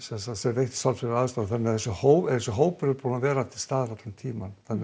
veitt sálfræðilega aðstoð þannig þessi hópur þessi hópur er búinn að vera til staðar allan tímann þannig